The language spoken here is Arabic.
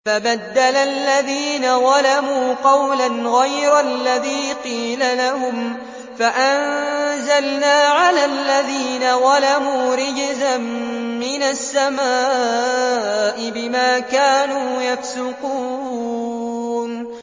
فَبَدَّلَ الَّذِينَ ظَلَمُوا قَوْلًا غَيْرَ الَّذِي قِيلَ لَهُمْ فَأَنزَلْنَا عَلَى الَّذِينَ ظَلَمُوا رِجْزًا مِّنَ السَّمَاءِ بِمَا كَانُوا يَفْسُقُونَ